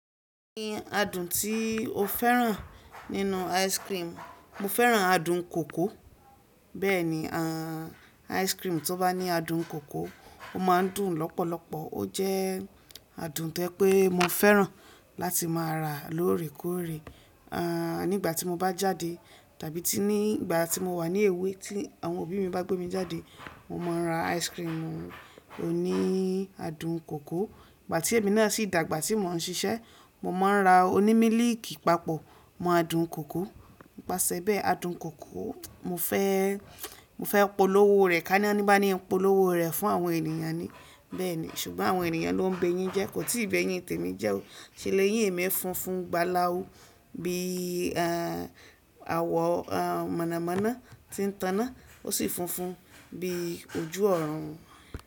Kiní adùn tí o féràn nínú ice cream, mo féràn adùn kòkó bẹ́ẹ̀ni à ice cream tó bá ní adùn kòkó ó máa ń dùn lọ́pọ̀lọpọ̀. Ó jẹ́ adùn to jẹ pé mo féràn láti má a rà lóòrèkóòrè. À nígbà tí mo bá jáde tàbí tí nígbà tí mo wà ní èwé tí àwọn òbí mi bá gbé mi jáde, mo máa ń rà ice cream oní adùn kòkó. Ìgbà tí èmi náà sì dàgbà tí mò ń ṣisẹ́, mo máa ń rà oní mílìkì papọ̀ mọ́ adùn kòkó. Nipasẹ̀ bẹ́ẹ̀ adùn kòkó mo fẹ́, mo fẹ́ polówó rẹ̀ ká ní ọ́ ní bá ní polówó rẹ̀ fún àwọn ènìyàn ni bẹ́ẹ̀ni ṣùgbọ́n àwọn ènìyàn ló ń béyín jẹ kò tí ì bẹ́ yín tẹ́ni jẹ́ o. Ṣé léyín mí fún fún ń gbá láú bí i àwọ̀ mọ̀nàmọ́ná tí ń tànná ó sì funfun bí ojú ọ̀run.